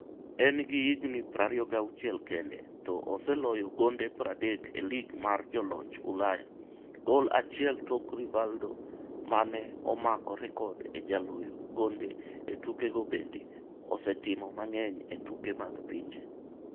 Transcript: En gi higni 26 kende to oseloyo gonde 30 e lig mar joloch Ulaya , gol achiel tok Rivaldo mane omako rekod e jaloyo gonde e tuke gotbende osetimo mang'eny e tuke mag pinje.